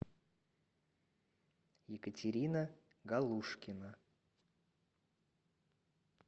екатерина галушкина